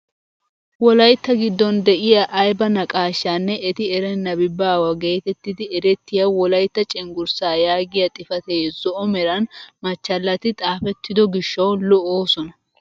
Wolaytta giddon de'iyaa ayba naqaashshanne eti erennabi baawa getettidi erettiyaa wolaytta cenggurssaa yaagiyaa xifatee zo'o meran machchalati xaafettido gishshawu lo"oosona!